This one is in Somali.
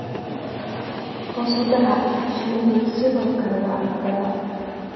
Hoos u dhaca shinnidu sidoo kale waa caqabad.